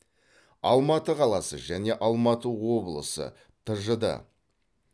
алматы қаласы және алматы облысы тжд